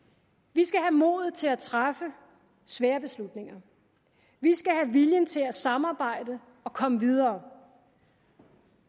vi skal have modet til at træffe svære beslutninger vi skal have viljen til at samarbejde og komme videre